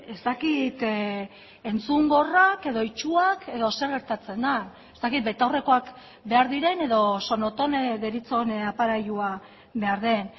ez dakit entzungorrak edo itsuak edo zer gertatzen den ez dakit betaurrekoak behar diren edo sonotone deritzon aparailua behar den